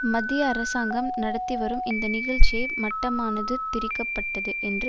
மத்திய அரசாங்கம் நடத்திவரும் இந்த நிகழ்ச்சியை மட்டமானது திரிக்கப்பட்டது என்று